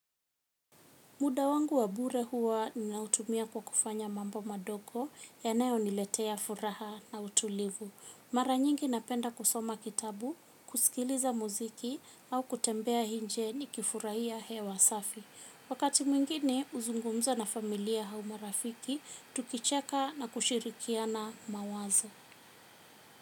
Muda wangu wa bure huwa ninautumia kwa kufanya mambo madogo yanayoniletea furaha na utulivu. Mara nyingi napenda kusoma kitabu, kusikiliza muziki au kutembea nje nikifurahia hewa safi. Wakati mwingini kuzungumza na familia au marafiki, tukichaka na kushirikiana mawazo.